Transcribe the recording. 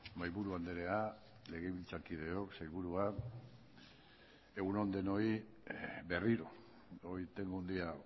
mahaiburu andrea legebiltzarkideok sailburua egun on denoi berriro hoy tengo un día